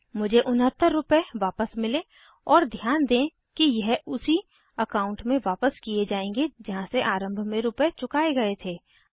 मुझे 69 उनहत्तर रूपए वापस मिले और ध्यान दें कि यह उसी अकाउंट में वापस किये जायेंगे जहाँ से आरम्भ में रूपए चुकाये गए थे